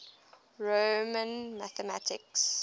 roman mathematics